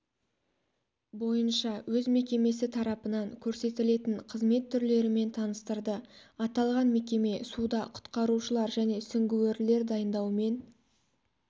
бойынша өз мекемесі тарапынан көрсетілетін қызмет түрлерімен таныстырды аталған мекеме суда құтқарушылар және сүңгуірлер дайындаумен